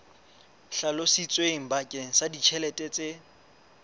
hlalositsweng bakeng sa ditjhelete tse